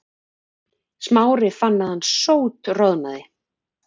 Smári fann að hann sótroðnaði.